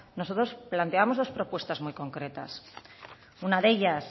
nosotros planteamos dos propuestas muy concretas una de ellas